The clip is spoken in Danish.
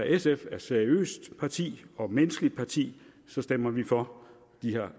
sf er et seriøst parti og et menneskeligt parti stemmer vi for